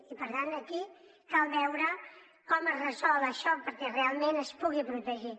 i per tant aquí cal veure com es resol això perquè realment es pugui protegir